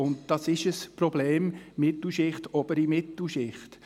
Es ist tatsächlich ein Problem der Mittelschicht und der oberen Mittelschicht.